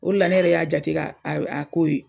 O de la ne yɛrɛ y'a jate k'a a a k'o ye.